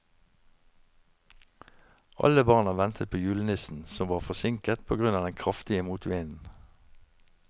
Alle barna ventet på julenissen, som var forsinket på grunn av den kraftige motvinden.